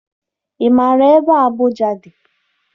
Ị maara ebe Abuja dị?